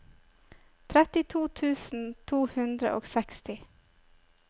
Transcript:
trettito tusen to hundre og seksti